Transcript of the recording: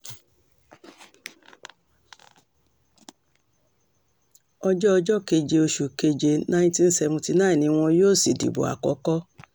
ọjọ́ ọjọ́ keje osù keje ninety seventy nine ni wọn yóò sì dìbò àkọ́kọ́